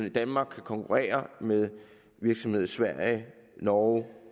i danmark kan konkurrere med virksomheder i sverige norge